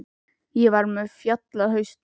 Ég var með fjall á hausnum.